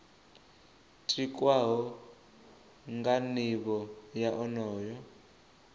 tikwaho nga nivho ya onoyo